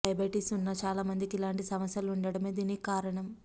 diabetes ఉన్న చాలా మందికి ఇలాంటి సమస్యలు ఉండటమే దీనికి కారణం